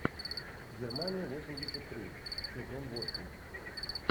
германия восемьдесят три сезон восемь